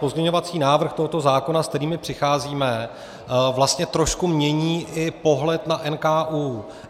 Pozměňovací návrh tohoto zákona, s kterým přicházíme, vlastně trošku mění i pohled na NKÚ.